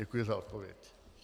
Děkuji za odpověď.